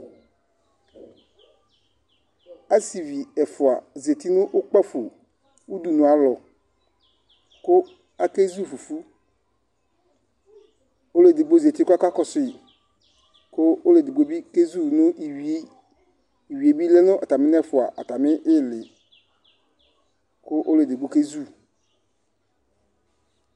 Asɩvi ɛfʋa zati nʋ kpǝfo udunualɔ kʋ akezu fufu Ɔlʋ edigbo zati kʋ ɔkakɔsʋ yɩ kʋ ɔlʋ edigbo bɩ kezu nʋ iyui Iyui bɩ lɛ nʋ atamɩ nʋ ɛfʋa atamɩ ɩɩlɩ kʋ ɔlʋ edigbo kezu